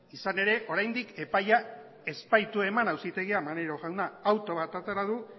izan ere oraindik epaia ez baitu eman auzitegiak maneiro jauna auto bat atera du